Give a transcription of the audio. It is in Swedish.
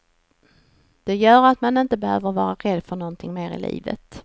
Det gör att man inte behöver vara rädd för någonting mer i livet.